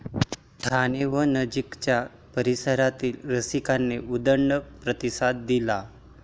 ठाणे व नजीकच्या परिसरातील रसिकांनी उदंड प्रतिसाद दिला.